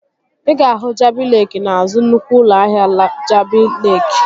Ị ga-ahụ Jabi Leeki n'azụ nnukwu ụlọ ahịa Jabi Leeki